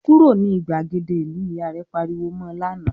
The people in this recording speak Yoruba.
"Kúrò ní ìgbàgede ìlú!", Ìyá rẹ̀ pariwo mọ lánàá